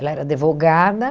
Ela era advogada.